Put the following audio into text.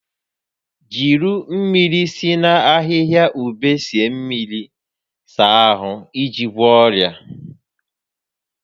Jiri mmiri si na ahihia ube sie mmiri saa ahụ iji gwọọ ọrịa